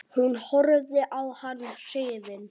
Hún horfði á hann hrifin.